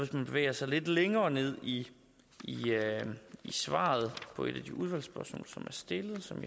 man bevæger sig lidt længere ned i svaret på et af de udvalgsspørgsmål som er stillet og som